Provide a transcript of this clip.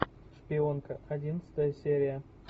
шпионка одиннадцатая серия